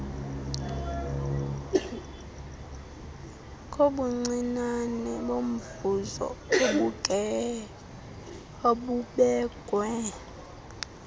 kobuncinane bomvuzo obubekwe